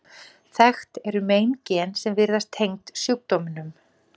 þekkt eru meingen sem virðast tengd sjúkdómnum